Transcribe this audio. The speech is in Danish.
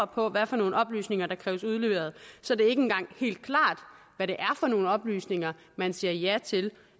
på hvad for nogle oplysninger der kræves udleveret så det er ikke engang helt klart hvad det er for nogle oplysninger man siger ja til